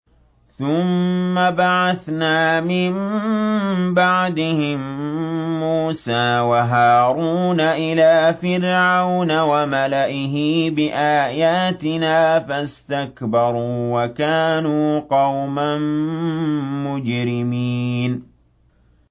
ثُمَّ بَعَثْنَا مِن بَعْدِهِم مُّوسَىٰ وَهَارُونَ إِلَىٰ فِرْعَوْنَ وَمَلَئِهِ بِآيَاتِنَا فَاسْتَكْبَرُوا وَكَانُوا قَوْمًا مُّجْرِمِينَ